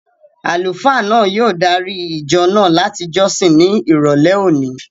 Àlùfáà náà yóò dári ìjọ náà láti jọ́sìn ní ìrọ̀lẹ́ òní